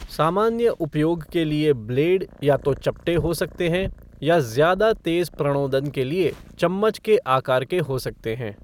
सामान्य उपयोग के लिए ब्लेड या तो चपटे हो सकते हैं या ज़्यादा तेज़ प्रणोदन के लिए चम्मच के आकार के हो जा सकते हैं।